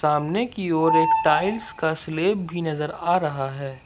सामने की ओर एक टाइल्स का स्लैब भी नजर आ रहा है।